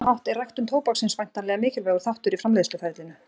Á sama hátt er ræktun tóbaksins væntanlega mikilvægur þáttur í framleiðsluferlinu.